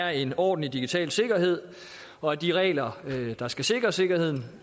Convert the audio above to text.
er en ordentlig digital sikkerhed og at de regler der skal sikre sikkerheden